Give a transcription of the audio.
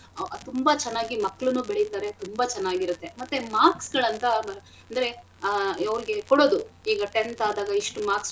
ಅಹ್ ತುಂಬಾ ಚೆನ್ನಾಗಿ ಮಕ್ಳುನು ಬೆಳಿತಾರೆ ತುಂಬಾ ಚೆನ್ನಾಗಿರತ್ತೆ ಮತ್ತೆ marks ಗಳಂತ ಅಂದ್ರೆ ಆಹ್ ಅವ್ರಿಗೆ ಕೊಡದು ಈಗ tenth ಆದಾಗ ಎಷ್ಟು marks .